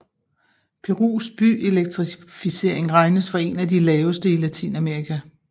Perus byelektrificering regnes for en af de laveste i Latinamerika